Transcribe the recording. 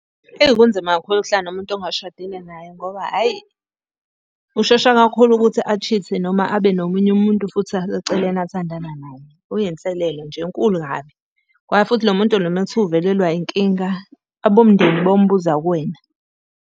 Ewu, kunzima kakhulu ukuhlala nomuntu ongashadile naye ngoba hhayi, ushesha kakhulu ukuthi a-cheat-e noma abe nomunye umuntu futhi aseceleni athandana naye, kuyinselelo nje enkulu kabi. Ngoba futhi lo muntu lo uma kuthiwa uvelelwa inkinga, abomndeni bayombuza kuwena.